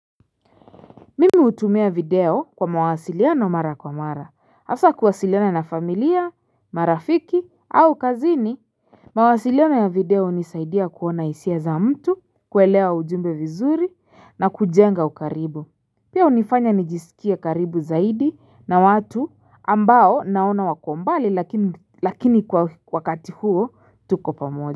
Mimi hutumia video kwa mawasiliano mara kwa mara, hasa kuwasiliana na familia, marafiki au kazini. Mawasiliano ya video hunisaidia kuona hisia za mtu, kuelewa ujumbe vizuri na kujenga ukaribu. Pia hunifanya nijisikie karibu zaidi na watu ambao naona wako mbali lakini kwa wakati huo tuko pamoja.